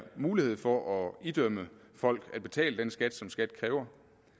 mulighed for at idømme folk at betale den skat som skat kræver